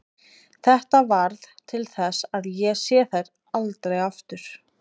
Þetta varð til þess að ég sá þær aldrei aftur.